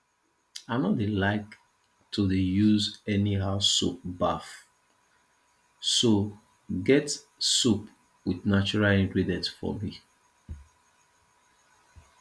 i no dey like to dey use anyhow soap baff so get soap with natural ingredients for me